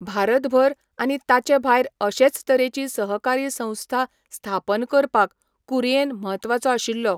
भारतभर आनी ताचेभायर अशेच तरेची सहकारी संस्था स्थापन करपाक कुरिएन म्हत्वाचो आशिल्लो.